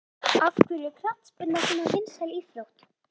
Af hverju er knattspyrna svona vinsæl íþrótt?